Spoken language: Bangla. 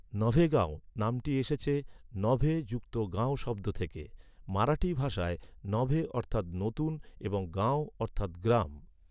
"নভেগাঁও" নামটি এসেছে নভে যুক্ত গাঁও শব্দ থেকে, মারাঠি ভাষায় নভে অর্থাৎ নতুন এবং গাঁও অর্থাৎ গ্রাম।